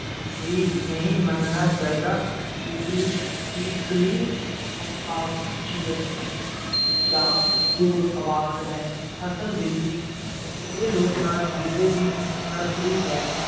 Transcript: ਵੀ ਨਹੀਂ ਮੰਨਣਾ ਚਾਹੀਦਾ ਕਿੱਕਲੀ ਜਾਂ ਕਿਰਕਲੀ ਤੋਂ ਭਾਵ ਖ਼ੁਸ਼ੀ ਅਤੇ ਚਾਅ ਭਰਪੂਰ ਅਵਾਜ਼ ਹੈ, ਅਸਲ ਵਿੱਚ ਇਹ ਲੋਕ-ਨਾਚ ਗਿੱਧੇ ਦੀ ਨਰਸਰੀ ਹੈ।